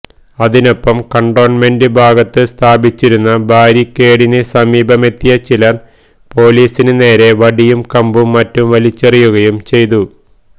അതിനൊപ്പം കന്റോണ്മെന്റ് ഭാഗത്ത് സ്ഥാപിച്ചിരുന്ന ബാരിക്കേഡിന് സമീപമെത്തിയ ചിലര് പോലീസിന് നേരെ വടിയും കമ്പും മറ്റും വലിച്ചെറിയുകയും ചെയ്തു